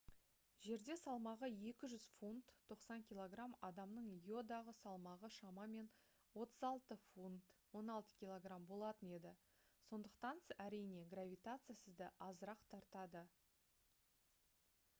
жерде салмағы 200 фунт 90 кг адамның йодағы салмағы шамамен 36 фунт 16 кг болатын еді. сондықтан әрине гравитация сізді азырақ тартады